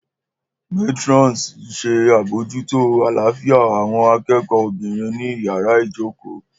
Matrons ń ṣe àbójútó àlàáfíà àwọn akẹ́kọ̀ọ́ obìnrin ní yàrá ìjókòó.